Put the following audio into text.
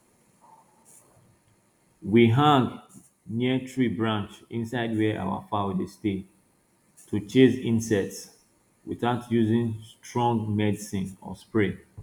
we hang neem tree branch inside where our fowl dey stay to chase insects without using strong medicine or spray